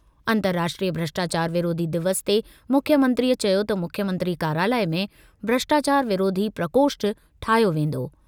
अंर्तराष्ट्रीय भ्रष्टाचार विरोधी दिवस ते मुख्यमंत्रीअ चयो त मुख्यमंत्री कार्यालय में भ्रष्टाचार विरोधी प्रकोष्ठ ठाहियो वेंदो।